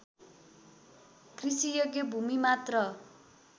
कृषियोग्य भूमि मात्र